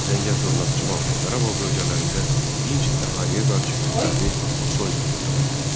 Zəngəzur, Naxçıvan və Qarabağ bölgələrində dinc əhaliyə qarşı kütləvi soyqırımı törətdi.